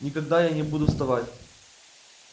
никуда я не буду вставать